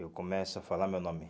Eu começo a falar meu nome.